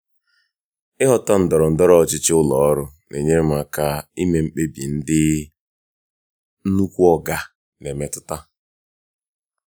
ịghọta ndọrọ ndọrọ ọchịchị ụlọ ọrụ na-enyere m aka ime mkpebi ndị "nnukwu oga" na-emetụta.